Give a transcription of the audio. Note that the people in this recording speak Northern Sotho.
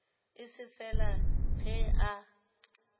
e se fela ge a